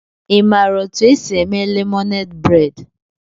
Ị maara otú e si eme lemonade braid?